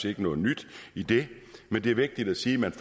ikke noget nyt i det men det er vigtigt at sige at man